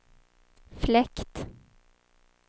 fläkt